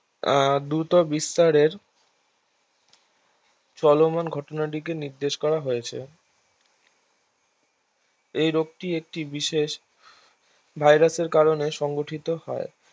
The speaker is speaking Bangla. আহ দ্রুতবিস্তারের চলমান ঘটনাটিকে নির্দেশ করা হয়েছে এই রোগটি একটি বিশেষ ভাইরাসের কারনে সংঘটিত হয়